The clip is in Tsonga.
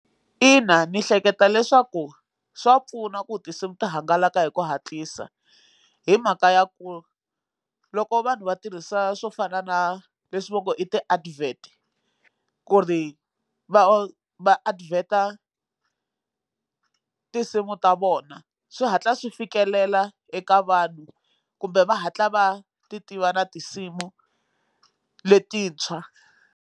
Ina ni hleketa leswaku swa pfuna ku tinsimu ti hangalaka hi ku hatlisa hi mhaka ya ku loko vanhu va tirhisa swo fana na leswi va ngo i ti advert ku ri va va advert-a tinsimu ta vona swi hatla swi fikelela eka vanhu kumbe va hatla va ti tiva na tinsimu letintshwa.